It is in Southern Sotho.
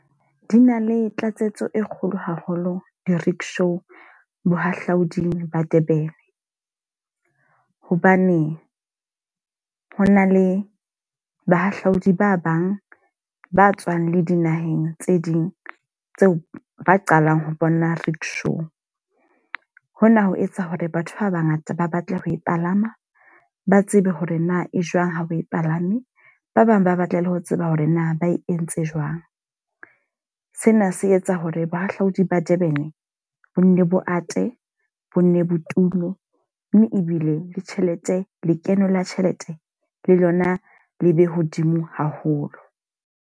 Di na le tlatsetso e kgolo haholo di-rickshaw bohahlauding ba Durban. Hobane ho na le bahahlaodi ba bang ba tswang dinaheng tse ding tseo ba qalang ho bona rickshaw. Hona ho etsa hore batho ba ba ngata ba batla ho e palama, ba tsebe hore na e jwang ha o palame. Ba bang ba batla le ho tseba hore na ba e entse jwang. Sena se etsa hore bohahlaudi ba Durban bo nne bo ate, bo nne botume. Mme ebile le tjhelete lekeno la tjhelete le lona le be hodimo haholo.